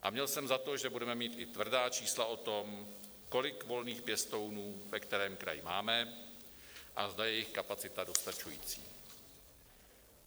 A měl jsem za to, že budeme mít i tvrdá čísla o tom, kolik volných pěstounů ve kterém kraji máme a zda je jejich kapacita dostačující.